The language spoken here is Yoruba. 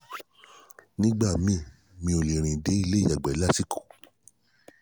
nígbà míì mi ò lè rìn dé ilé ìyàgbẹ́ lásìkò